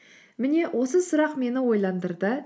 міне осы сұрақ мені ойландырды